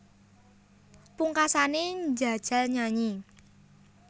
Pungkasané njajal nyanyi